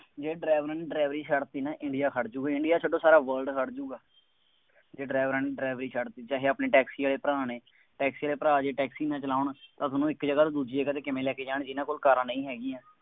ਜੇ driver ਨੇ ਡਰਾਈਵਰੀ ਛੱਡ ਦਿੱਤੀ ਨਾ, ਇੰਡੀਆ ਖੜ੍ਹ ਜਾਊਗਾ, ਇੰਡੀਆ ਛੱਡੋ ਸਾਰਾ world ਖੜ੍ਹ ਜਾਊਗਾ, ਜੇ ਡਰਾਈਵਰਾਂ ਨੇ ਡਰਾਈਵਰੀ ਛੱਡ ਦਿੱਤੀ। ਵੈਸੇ ਆਪਣੇ ਟੈਕਸੀ ਵਾਲੇ ਭਰਾ ਨੇ, ਟੈਕਸੀ ਵਾਲੇ ਭਰਾ ਜੇ ਟੈਕਸੀ ਨਾ ਚਲਾਉਣ, ਤਾਂ ਤੁਹਾਨੂੰ ਇੱਕ ਜਗ੍ਹਾ ਤੋਂ ਦੂਜੀ ਜਗ੍ਹਾ ਤੇ ਕਿਵੇਂ ਲੈ ਕੇ ਜਾਣਗੇ, ਜਿੰਨ੍ਹਾ ਕੋਲ ਕਾਰਾਂ ਨਹੀਂ ਹੈਗੀਆਂ।